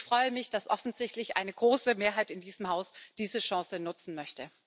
Ich freue mich, dass offensichtlich eine große Mehrheit in diesem Haus diese Chance nutzen möchte.